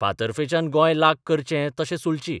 फातर्फेच्यान गोंय लाग करचें तशें सुलचिं.